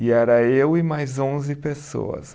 E era eu e mais onze pessoas.